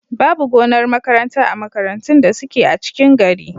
Babu gonar makaranta a makarantun da suke a cikin gari.